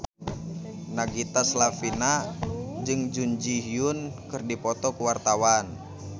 Nagita Slavina jeung Jun Ji Hyun keur dipoto ku wartawan